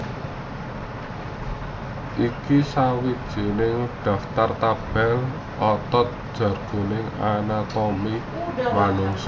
Iki sawijining daftar tabel otot jroning anatomi manungsa